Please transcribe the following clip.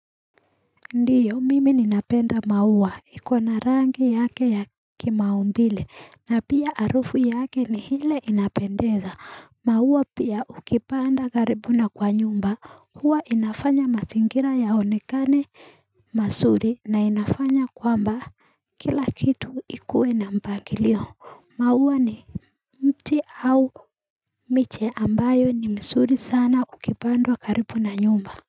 Ndiyo mimi ninapenda maua ikona rangi yake ya kimaumbile na pia arufu yake ni hile inapendeza maua pia ukipanda karibu na kwa nyumba huwa inafanya masingira ya honikane masuri na inafanya kwamba kila kitu ikue na mpangilio maua ni mti au miche ambayo ni msuri sana ukipandwa karibu na nyumba.